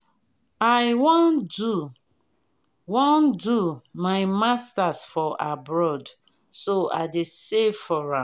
i wan do wan do my masters for abroad so i dey save for am